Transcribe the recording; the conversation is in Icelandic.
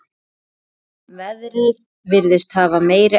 Veðrið virðist hafa meiri áhrif.